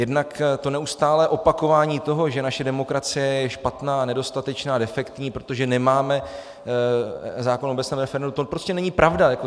Jednak to neustálé opakování toho, že naše demokracie je špatná, nedostatečná, defektní, protože nemáme zákon o obecném referendu - to prostě není pravda.